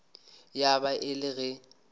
ya ba e le ge